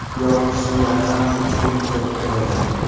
Yomg‘ir suvlari ham shu chuqurlikda to‘plangan.